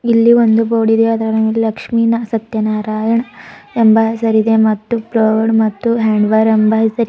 ಇಲ್ಲಿ ಒಂದು ಬೋರ್ಡ್ ಇದೆ ಅದರ ಮೇಲೆ ಲಕ್ಷ್ಮಿ ನ ಸತ್ಯನಾರಾಯಣ ಎಂಬ ಹೆಸರಿದೆ ಮತ್ತು ಪ್ಲೇವುಡ್ ಮತ್ತು ಹ್ಯಾಂಡ್ ವರ್ ಎಂಬ ಹೆಸರಿದೆ.